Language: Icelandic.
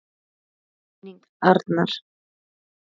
Blessuð sé minning Arnar.